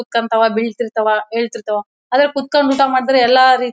ಕುತ್ಕೊಂತವ ಬೀಳ್ತಿರ್ತಾವ ಏಳ್ತಿರ್ತಾವ ಆದ್ರೆ ಕುತ್ಕೊಂಡ್ ಊಟ ಮಾಡಿದ್ರೆ ಎಲ್ಲಾ ರೀ--